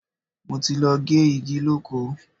Mo ti lọ gé igi lóko.